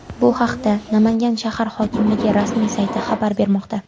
Bu haqda Namangan shahar hokimligi rasmiy sayti xabar bermoqda .